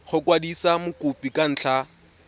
go kwadisa mokopi ka ntlha